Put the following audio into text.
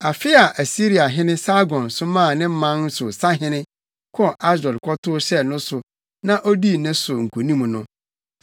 Afe a Asiriahene Sargon somaa ne man no sahene kɔɔ Asdod kɔtow hyɛɛ no so na odii ne so nkonim no,